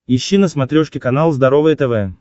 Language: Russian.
ищи на смотрешке канал здоровое тв